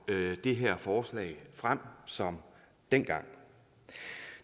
det her forslag frem som dengang